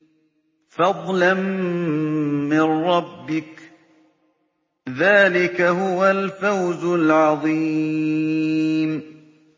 فَضْلًا مِّن رَّبِّكَ ۚ ذَٰلِكَ هُوَ الْفَوْزُ الْعَظِيمُ